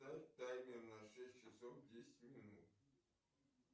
таймер на шесть часов десять минут